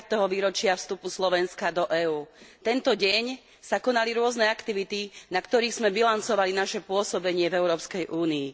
5. výročia vstupu Slovenska do EÚ. V tento deň sa konali rôzne aktivity, na ktorých sme bilancovali naše pôsobenie v Európskej únii.